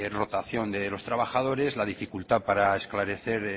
rotación de los trabajadores la dificultad para esclarecer